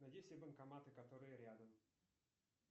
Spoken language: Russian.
найди все банкоматы которые рядом